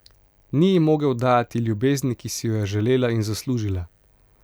Ni ji mogel dajati ljubezni, ki si jo je želela in zaslužila.